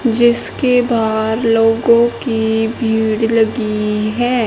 जिसके बाहर लोगों की भीड़ लगी है।